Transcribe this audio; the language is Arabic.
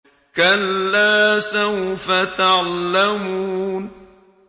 كَلَّا سَوْفَ تَعْلَمُونَ